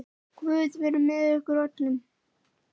Guð verið með ykkur öllum.